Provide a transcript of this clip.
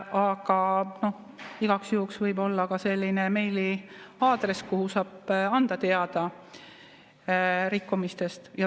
Aga igaks juhuks võib olla ka selline meiliaadress, kuhu saab rikkumistest teada anda.